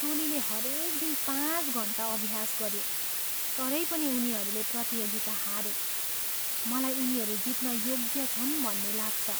टोलीले हरेक दिन पाँच घन्टा अभ्यास गऱ्यो तरै पनि उनीहरूले प्रतियोगिता हारे। मलाई उनीहरू जित्न योग्य छन् भन्ने लाग्छ।